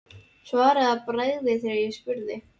Svaraði að bragði þegar ég spurði.